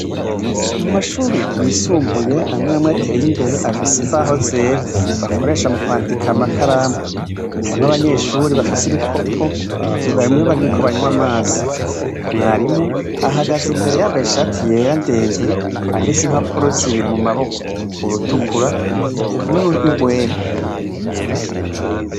Mu mashure y'isumbuye amwamwe ateye imbere afise imbaho zera, bakoresha mu kwandika amakaramu, harimwo abanyeshure bafise ibikopo vyugaye bariko banywa amazi, mwarimu ahagaze imbere yambaye ishati ndende, afise impapuro zibiri mu maboko urutukura n'urwera.